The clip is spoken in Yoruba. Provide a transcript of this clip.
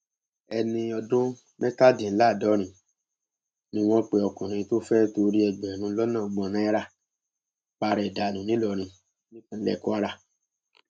ẹni ọdún mẹtàdínláàdọrin ni wọn pe ọkùnrin tó fẹẹ torí ẹgbẹrún lọnà ọgbọn náírà para ẹ dànù ńìlọrin nípínlẹ kwara